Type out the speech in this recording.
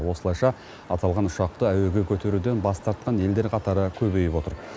осылайша аталған ұшақты әуеге көтеруден бас тартқан елдер қатары көбейіп отыр